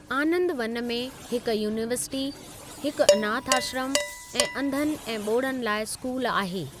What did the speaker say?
आनंदवन में हिक यूनीवर्सिटी, हिकु अनाथ आश्रम ऐं अंधनि ऐं ॿोड़नि लाइ स्कूल आहे।